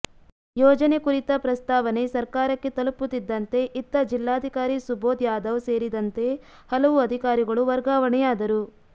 ಯೋಜನೆ ಕುರಿತ ಪ್ರಸ್ತಾವನೆ ಸರ್ಕಾರಕ್ಕೆ ತಲುಪುತ್ತಿದ್ದಂತೆ ಇತ್ತ ಜಿಲ್ಲಾಧಿಕಾರಿ ಸುಭೋದ್ ಯಾದವ್ ಸೇರಿದಂತೆ ಹಲವು ಅಧಿಕಾರಿಗಳು ವರ್ಗಾವಣೆಯಾದರು